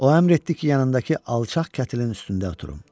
O əmr etdi ki, yanındakı alçaq kətilin üstündə oturum.